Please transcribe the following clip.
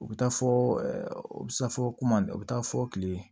U bɛ taa fɔ u bɛ taa fɔ kuma o bɛ taa fɔ kile